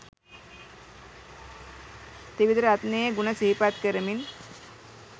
ත්‍රිවිධ රත්නයේ ගුණ සිහිපත් කරමින්